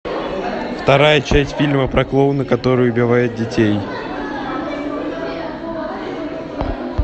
вторая часть фильма про клоуна который убивает детей